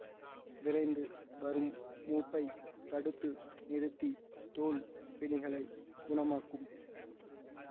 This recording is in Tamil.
விரைந்து வரும் மூப்பை தடுத்து நிறுத்தி தோல் பிணிகளை குணமாக்கும்